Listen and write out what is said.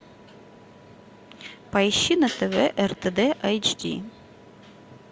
поищи на тв ртд эйч ди